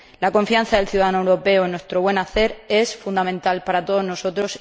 La confianza del ciudadano europeo en nuestro buen hacer es fundamental para todos nosotros